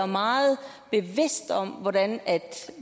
meget bevidst om hvordan